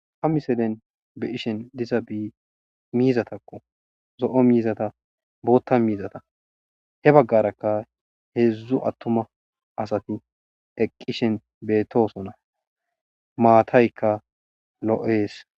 A miselen beqishen diza bi miizatakko zo7o miizata bootta miizata he baggarakka heedzdzu attuma asati eqqishen beetosona maataykka lo7ees